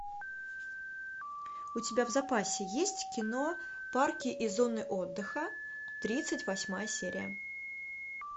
у тебя в запасе есть кино парки и зоны отдыха тридцать восьмая серия